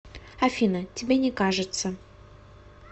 афина тебе не кажется